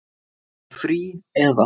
Í frí. eða?